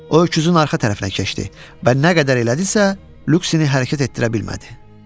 O öküzün arxa tərəfinə keçdi və nə qədər elədisə, Lüksini hərəkət etdirə bilmədi.